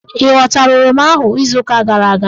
Ị ghọtara oroma ahụ izuuka gara aga?